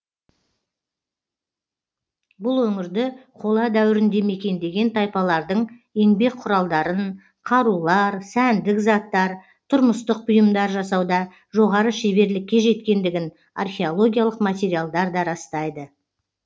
бұл өңірді қола дәуірінде мекендеген тайпалардың еңбек құралдарын қарулар сәндік заттар тұрмыстық бұйымдар жасауда жоғары шеберлікке жеткендігін археологиялық материалдар да растайды